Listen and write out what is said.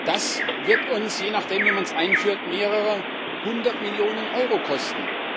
Das wird uns je nachdem, wie man es einführt mehrere Hundert Millionen Euro kosten.